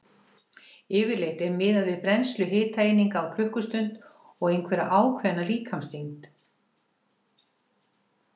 Yfirleitt er miðað við brennslu hitaeininga á klukkustund og einhverja ákveðna líkamsþyngd.